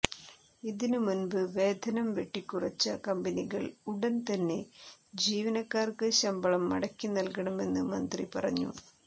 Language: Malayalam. ഇതിന് മുമ്പ് വേതനം വെട്ടിക്കുറച്ച കമ്പനികൾ ഉടൻ തന്നെ ജീവനക്കാർക്ക് ശമ്പളം മടക്കി നൽകണമെന്ന് മന്ത്രി പറഞ്ഞു